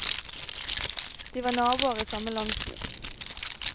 De var naboer i samme landsby.